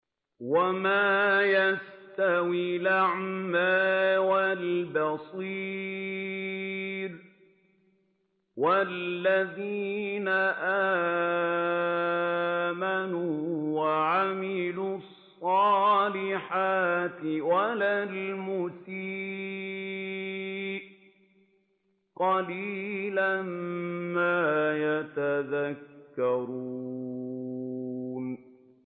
وَمَا يَسْتَوِي الْأَعْمَىٰ وَالْبَصِيرُ وَالَّذِينَ آمَنُوا وَعَمِلُوا الصَّالِحَاتِ وَلَا الْمُسِيءُ ۚ قَلِيلًا مَّا تَتَذَكَّرُونَ